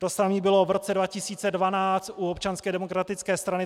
To samé bylo v roce 2012 u Občanské demokratické strany.